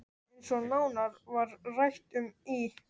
Eins og nánar var rætt um í